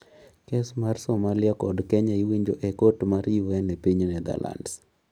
Kes mar Somalia kod Kenya iwinjo e kot mar UN e piny Netherlands